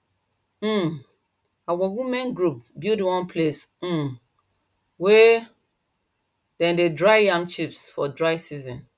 um our women group build one place um wey dem dey dry yam chip for dry season